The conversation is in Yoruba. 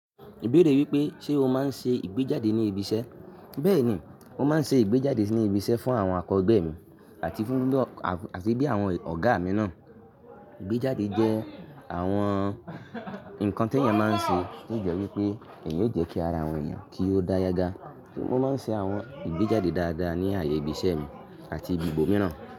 Ibeere wípé, ṣe o maa ń ṣe ìgbéjáde ní ibi iṣẹ́? Bẹ́ẹ̀ni, mo máa ń ṣe ìgbéjáde ní ibi iṣẹ́ fún àwọn akọ̀gbé mi àti fún bí àwọn ọ̀gá mi náà. Ìgbéjáde jẹ́ àwọn ǹkan tí èèyàn máa ń ṣe tí ó jọ wípé èyí ó jẹ́ kí ara àwọn èèyàn kí ó dá yágá. Mo máa ń ṣe àwọn ìgbéjáde dáadáa ní ààyè ibi iṣẹ́ mi àti ibi ibo mìíràn.